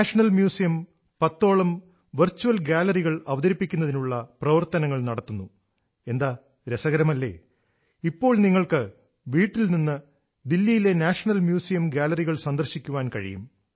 national museum പത്തോളം virtual ഗാലറികൾ അവതരിപ്പിക്കുന്നതിനുള്ള പ്രവർത്തനങ്ങൾ നടത്തുന്നു എന്താരസകരമല്ലേ ഇപ്പോൾ നിങ്ങൾക്ക് വീട്ടിൽ നിന്ന് ദില്ലിയിലെ നാഷണൽ മ്യൂസിയം ഗാലറികൾ സന്ദർശിക്കാൻ കഴിയും